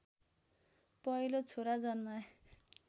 पहिलो छोरा जन्माए